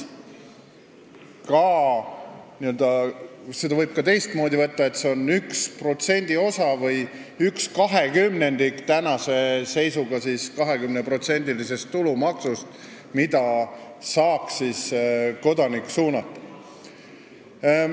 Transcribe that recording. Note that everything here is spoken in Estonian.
Võib ka niimoodi võtta, et see on praegusest 20%-lisest tulumaksust üks protsendiosa või 1/20, mida saaks kodanik ise suunata.